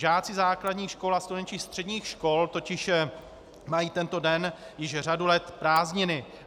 Žáci základních škol a studenti středních škol totiž mají tento den již řadu let prázdniny.